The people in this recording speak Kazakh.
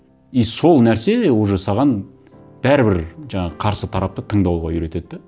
и сол нәрсе уже саған бәрібір жаңағы қарсы тарапты тыңдауға үйретеді де